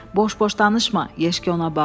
Boş-boş danışma, Yeşki ona bağırdı.